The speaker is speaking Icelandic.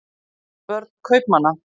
börn kaupmanna